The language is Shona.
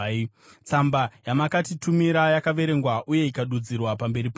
Tsamba yamakatitumira yakaverengwa uye ikadudzirwa pamberi pangu.